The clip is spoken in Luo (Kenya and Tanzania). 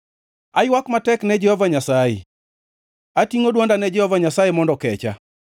Aywak matek ne Jehova Nyasaye; atingʼo dwonda ne Jehova Nyasaye mondo okecha.